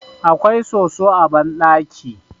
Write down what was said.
akwai soso a bandaki